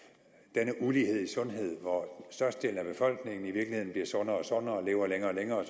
denne ulighed i sundhed hvor størstedelen af befolkningen i virkeligheden bliver sundere og sundere og lever længere og længere